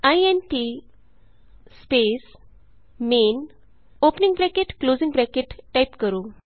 int space main opening bracket closing bracket type ਕਰੋ